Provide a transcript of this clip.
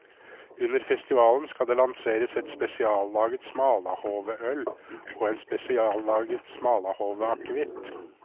Under festivalen skal det lanseres et spesiallaget smalahoveøl og en spesiallaget smalahoveakevitt.